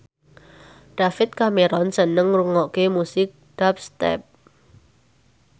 David Cameron seneng ngrungokne musik dubstep